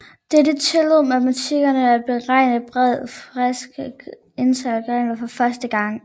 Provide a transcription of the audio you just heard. Dette tillod matematikere at beregne en bred klasse integraler for første gang